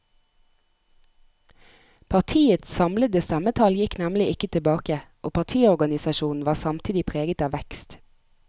Partiets samlede stemmetall gikk nemlig ikke tilbake, og partiorganisasjonen var samtidig preget av vekst.